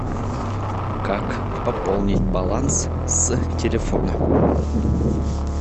как пополнить баланс с телефона